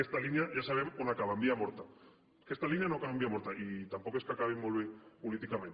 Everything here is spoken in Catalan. aquesta línia ja sabem on acaba en via morta aquesta línia no acaba en via morta i tampoc és que acabin molt bé políticament